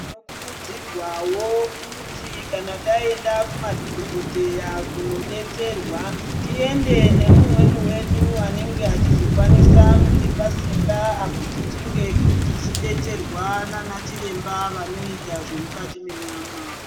Tinokurudzirwawo kuti kana taenda kumadhogodheya kunodetserwa tiende nemumweni wedu anenge achizokwanisa kutipa simba apo tichinge tichidetserwa naana chiremba vanoita zvemukati menyama.